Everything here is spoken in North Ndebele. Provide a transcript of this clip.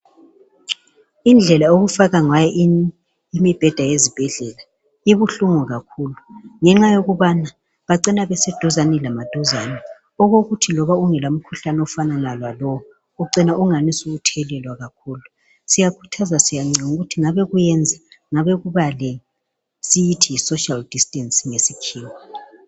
Indlela okufakwa ngayo imibheda yezibhedlela ibuhlungu kakhulu ngenxa yokubana bacina beseduzane lamaduzane okokuthi loba lingela mkhuhlane efanayo ucina lithethelelana kuyakhuthazwa ukuthi ngabe kuyaba lesocial distance esikubiza ngesikhiwa